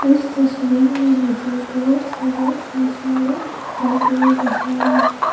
इस तस्वीर में मुझे बहुत सारा इंसान लोग दिखाई दे रहा है।